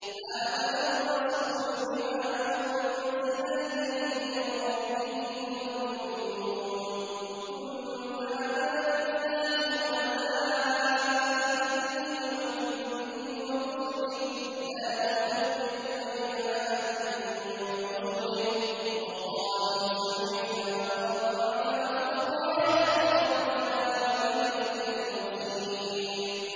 آمَنَ الرَّسُولُ بِمَا أُنزِلَ إِلَيْهِ مِن رَّبِّهِ وَالْمُؤْمِنُونَ ۚ كُلٌّ آمَنَ بِاللَّهِ وَمَلَائِكَتِهِ وَكُتُبِهِ وَرُسُلِهِ لَا نُفَرِّقُ بَيْنَ أَحَدٍ مِّن رُّسُلِهِ ۚ وَقَالُوا سَمِعْنَا وَأَطَعْنَا ۖ غُفْرَانَكَ رَبَّنَا وَإِلَيْكَ الْمَصِيرُ